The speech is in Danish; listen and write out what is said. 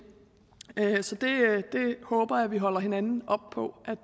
så det håber jeg at vi holder hinanden op på